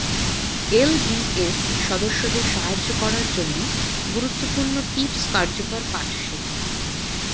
LDS সদস্যদের সাহায্য করার জন্য গুরুত্বপূর্ণ টিপস কার্যকর পাঠ শেখা